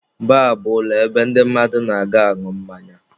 Baar bụ ụlọ ebe ndị mmadụ na-aga añụ mmanya.